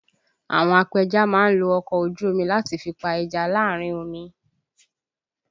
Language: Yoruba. Àwọn apẹja má ń lo ọkọ̀ ojú omi láti fi pa ẹja láàrin omi